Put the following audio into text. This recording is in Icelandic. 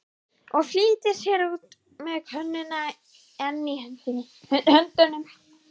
Og flýtir sér út með könnuna enn í höndunum.